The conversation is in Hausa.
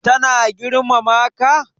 Ta na girmama ka?